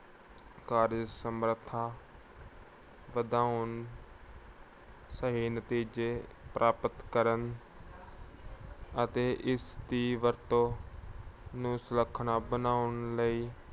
ਕਾਰਜ ਸਮਰਥਾ ਵਧਾਉਣ ਸਹੀ ਨਤੀਜੇ ਪ੍ਰਾਪਤ ਕਰਨ ਅਤੇ ਇਸ ਦੀ ਵਰਤੋਂ ਨੂੰ ਸੁਲਖਣਾ ਬਣਾਉਣ ਲਈ